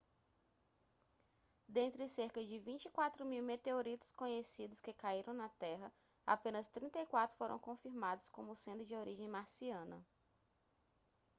dentre cerca de 24 mil meteoritos conhecidos que caíram na terra apenas 34 foram confirmados como sendo de origem marciana